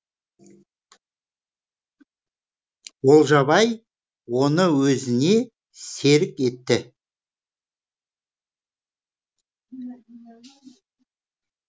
олжабай оны өзіне серік етті